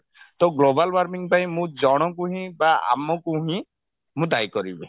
ତ global warming ପାଇଁ ମୁଁ ଜଣଙ୍କୁ ହିଁ ବା ଆମକୁ ହିଁ ମୁଁ ଦାୟୀ କରିବି